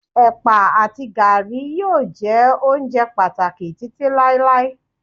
ẹpa ati garri yíò jé ounjẹ pàtàkì Títí láíláí